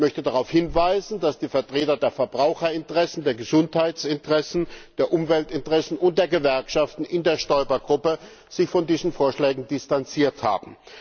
Ich möchte darauf hinweisen, dass sich die Vertreter der Verbraucherinteressen, der Gesundheitsinteressen, der Umweltinteressen und der Gewerkschaften in der Stoiber Gruppe von diesen Vorschlägen distanziert haben.